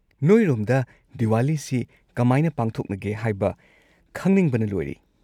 ꯅꯣꯏꯔꯣꯝꯗ ꯗꯤꯋꯥꯂꯤꯁꯤ ꯀꯃꯥꯏꯅ ꯄꯥꯡꯊꯣꯛꯅꯒꯦ ꯍꯥꯏꯕ ꯈꯪꯅꯤꯡꯕꯅ ꯂꯣꯏꯔꯦ꯫